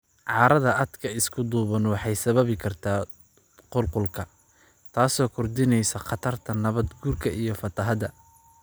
Carrada aadka isku duuban waxay sababi kartaa qulqulka, taasoo kordhinaysa khatarta nabaad guurka iyo fatahaada.